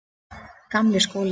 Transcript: Gamli skóli